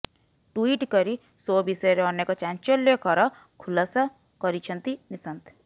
tweet କରି show ବିଷୟରେ ଅନେକ ଚାଂଚଲ୍ୟକର ଖୁଲାସା କରିଛନ୍ତି ନିଶାନ୍ତ